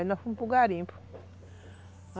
Aí nós fomos para o garimpo.